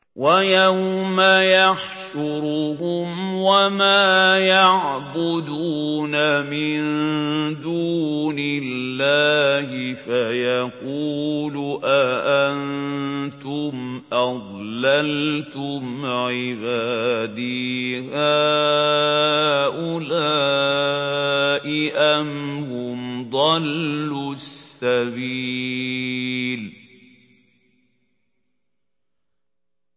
وَيَوْمَ يَحْشُرُهُمْ وَمَا يَعْبُدُونَ مِن دُونِ اللَّهِ فَيَقُولُ أَأَنتُمْ أَضْلَلْتُمْ عِبَادِي هَٰؤُلَاءِ أَمْ هُمْ ضَلُّوا السَّبِيلَ